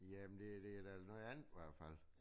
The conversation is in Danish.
Jamen det det da noget andet i hvert fald